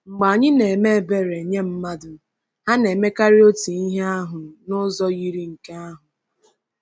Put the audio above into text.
Mgbe anyị na-eme ebere nye mmadụ, ha na-emekarị otu ihe ahụ n’ụzọ yiri nke ahụ.